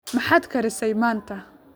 Maxaad karisay maanta?